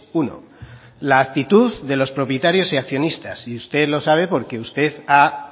uno la actitud de los propietarios y accionistas y usted lo sabe porque usted ha